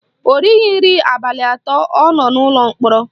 O righi nri abalị atọ ọ nọ n'ụlọ mkpọrọ